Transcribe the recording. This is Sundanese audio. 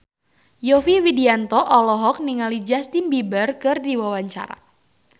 Yovie Widianto olohok ningali Justin Beiber keur diwawancara